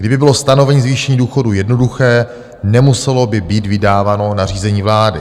Kdyby bylo stanovení zvýšení důchodů jednoduché, nemuselo by být vydáváno nařízení vlády.